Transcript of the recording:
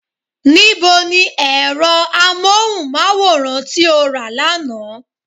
Ní bo ni ẹ̀rọ amóhùnmáwòrán tí o rà lánàá?